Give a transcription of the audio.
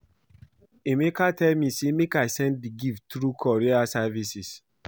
Emeka tell me say make I send the gift through courier services